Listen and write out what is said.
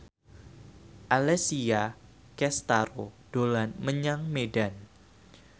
Alessia Cestaro dolan menyang Medan